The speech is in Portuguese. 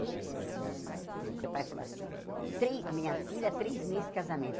Vai só trocar O meu pai falou assim, trê minha filha, três meses de casamento.